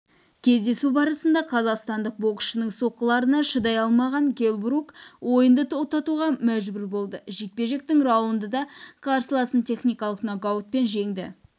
кездесу барысында қазақстандық боксшының соққыларына шыдай алмаған келл брук ойынды тоқтатуға мәжбүр болды жекпе-жектің раундында қарсыласын техникалық нокаутпен жеңді